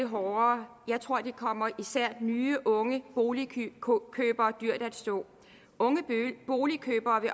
hårdere jeg tror at det kommer især nye unge boligkøbere dyrt at stå unge boligkøbere vil